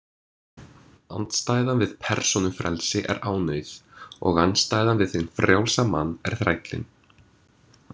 Andstæðan við persónufrelsi er ánauð, og andstæðan við hinn frjálsa mann er þrællinn.